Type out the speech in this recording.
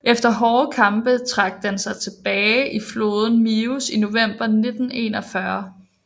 Efter hårde kampe trak den sig tilbage til floden Mius i november 1941